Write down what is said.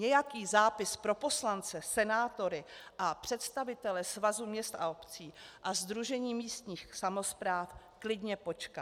Nějaký zápis pro poslance, senátory a představitele Svazu měst a obcí a Sdružení místních samospráv klidně počká.